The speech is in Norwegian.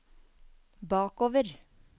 bakover